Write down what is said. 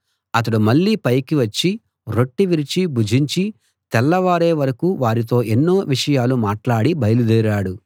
అతడు మళ్ళీ పైకి వచ్చి రొట్టె విరిచి భుజించి తెల్లవారే వరకూ వారితో ఎన్నో విషయాలు మాట్లాడి బయలుదేరాడు